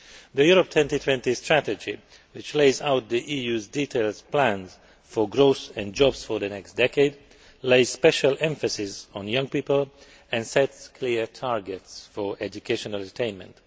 The Europe 2020 strategy, which lays out the EU's detailed plans for growth and jobs for the next decade, lays special emphasis on young people and sets clear targets for educational attainment.